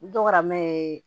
N dɔgɔmɛ ye